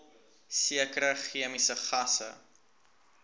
sekere chemiese gasse